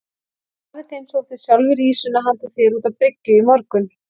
Hann afi þinn sótti sjálfur ýsuna handa þér út á bryggju í morgun.